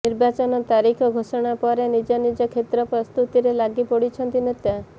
ନିର୍ବାଚନ ତାରିଖ ଘୋଷଣା ପରେ ନିଜ ନିଜ କ୍ଷେତ୍ର ପ୍ରସ୍ତୁତିରେ ଲାଗି ପଡିଛନ୍ତି ନେତା